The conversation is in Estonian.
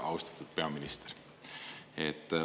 Austatud peaminister!